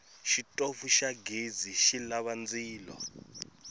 xitofu xa ghezi xilava ndzilo